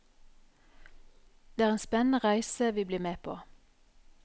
Det er en spennende reise vi blir med på.